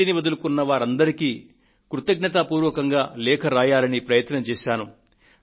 gas సబ్సిడీని విడచిపెట్టిన వారందరికీ కృతజ్ఞతా పూర్వకంగా లేఖ రాయాలని ప్రయత్నం చేశాను